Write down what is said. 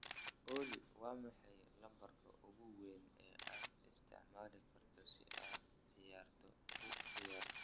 olly, waa maxay lambarka ugu weyn ee aad isticmaali karto si aad ciyaarta u ciyaarto?